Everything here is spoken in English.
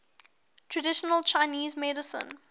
traditional chinese medicine